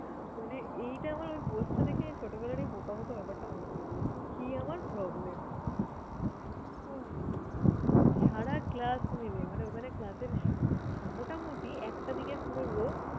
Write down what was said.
মানে এইটা আমার ওই post টা দেখে ছোটবেলার ওই বোকা বোকা ব্যাপারটা মনে পরলো। কি আমার problem উফ! সারা class মিলে মানে ওখানে এর মোটামোটি একটা দিকের পুরো row